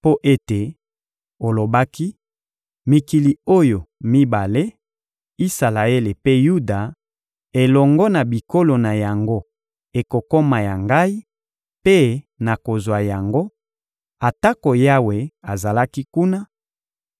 Mpo ete olobaki: ‘Mikili oyo mibale, Isalaele mpe Yuda, elongo na bikolo na yango ekokoma ya ngai, mpe nakozwa yango,’ atako Yawe azalaki kuna;